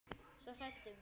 Svo hrædd um.